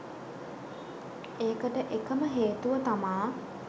ඒකට එකම හේතුව තමා